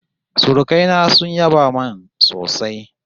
Surukai na sun yaba min sosai